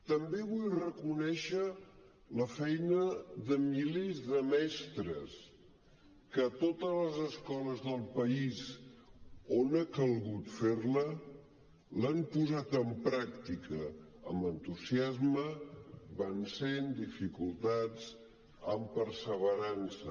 també vull reconèixer la feina de milers de mestres que a totes les escoles del país on ha calgut fer la l’han posat en pràctica amb entusiasme vencent dificultats amb perseverança